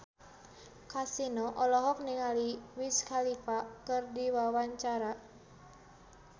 Kasino olohok ningali Wiz Khalifa keur diwawancara